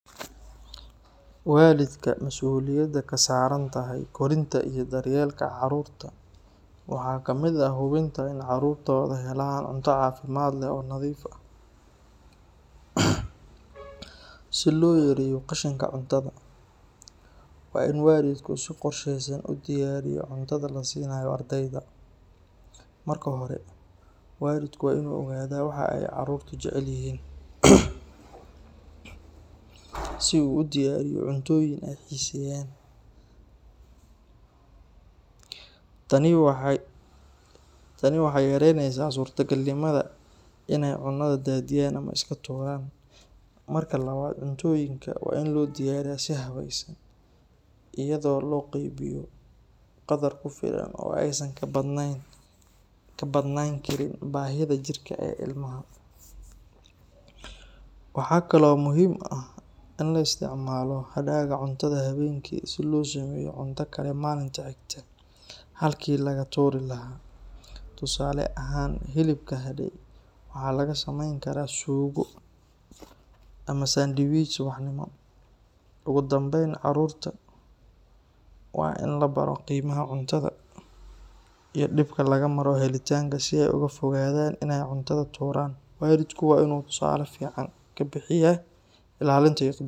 Waalidka mas’uuliyadda ka saaran tahay korinta iyo daryeelka carruurta waxaa ka mid ah hubinta in carruurtooda helaan cunto caafimaad leh oo nadiif ah. Si loo yareeyo qashinka cuntada, waa in waalidku si qorsheysan u diyaariyo cuntada la siinayo ardayda. Marka hore, waalidku waa inuu ogaadaa waxa ay carruurtu jecel yihiin, si uu u diyaariyo cuntooyin ay xiiseeyaan. Tani waxay yareyneysaa suurtagalnimada in ay cunada daadiyaan ama iska tuuraan. Marka labaad, cuntooyinka waa in loo diyaariyaa si habaysan, iyadoo loo qeybiyo qadar ku filan oo aysan ka badnaan karin baahida jirka ee ilmaha. Waxaa kaloo muhiim ah in la isticmaalo hadhaaga cuntada habeenkii si loo sameeyo cunto kale maalinta xigta, halkii laga tuuri lahaa. Tusaale ahaan, hilibka hadhay waxaa laga sameyn karaa suugo ama sandwich subaxnimo. Ugu dambeyn, carruurta waa in la baro qiimaha cuntada iyo dhibka laga maro helitaankeeda si ay uga fogaadaan in ay cuntada iska tuuraan. Waalidku waa inuu tusaale fiican ka bixiyo ilaalinta iyo.